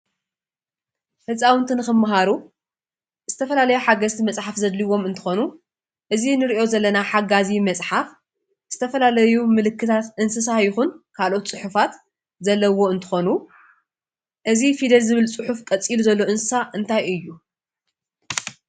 ህፃውንቲ ንክመሃሩ ዝተፈላለዩ ሓገዝቲ መፃሕፍቲ ዘድልዩዎም እንትኾኑ እዚ ንሪኦ ዘለና ሓጋዚ መፅሓፍ ዝተፈላለዩ ምልክታት እንስሳ ይኹን ካልኦት ፅሑፋት ዘለዉዎ እንትኾኑ እዚ ፊደል ዝብል ፅሑፍ ቀፂሉ ዘሎ እንስሳ እንታይ እዩ?